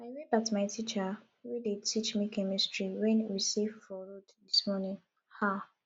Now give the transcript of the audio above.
i wave at my teacher wey dey teach me chemistry wen we see for road dis morning um